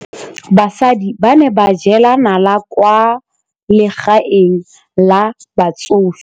Basadi ba ne ba jela nala kwaa legaeng la batsofe.